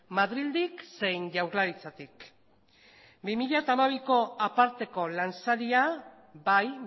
madrildik zein jaurlaritzatik bi mila hamabiko aparteko lansaria bai